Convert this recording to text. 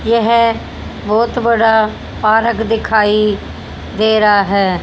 यह बहोत बड़ा पारक दिखाई दे रहा है।